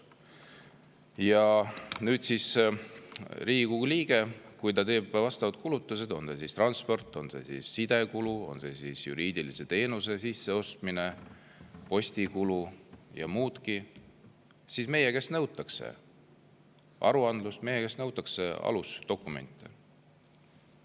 Aga kui Riigikogu liige teeb vastavad kulutused – olgu see transpordi, sidekulu, juriidilise teenuse sisseostmise, postikulu või muu –, siis meie käest nõutakse aruandlust, meie käest nõutakse alusdokumente.